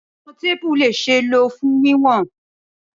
Awọn teepu le ṣee lo fun wiwọn.